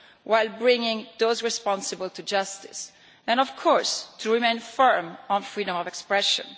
while bringing those responsible to justice, and, of course, important to remain firm on freedom of expression.